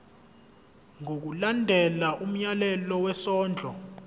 ngokulandela umyalelo wesondlo